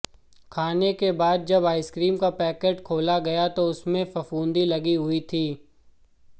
खाने के बाद जब आईस्क्रीन का पैकेट खोला गया तो उसमें फफूंद लगी हुई थी